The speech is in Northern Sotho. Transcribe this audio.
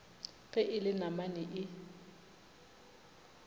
ge e le namane e